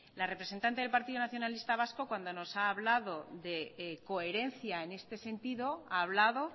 la representante del grupo nacionalista vasco cuando nos ha hablado de coherencia en este sentido ha hablado